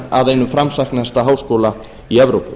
að einum framsæknasta háskóla í evrópu